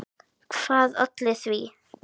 Hvað olli því?